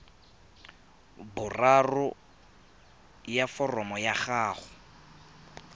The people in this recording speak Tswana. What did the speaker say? boraro ya foromo ya gago